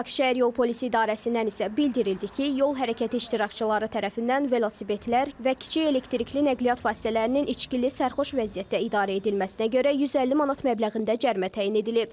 Bakı şəhər yol polisi idarəsindən isə bildirildi ki, yol hərəkəti iştirakçıları tərəfindən velosipedlər və kiçik elektrikli nəqliyyat vasitələrinin içkili sərxoş vəziyyətdə idarə edilməsinə görə 150 manat məbləğində cərimə təyin edilib.